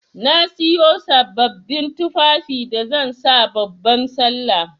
Na Siyo sabbabin tufafi da zan sa babban sallah.